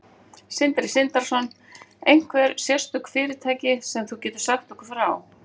Sindri Sindrason: Einhver sérstök fyrirtæki sem þú getur sagt okkur frá?